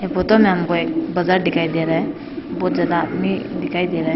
एह फोटो में हमें एक बाजार दिखाई दे रहा है बहुत ज्यादा आदमी दिखाई दे रहा है।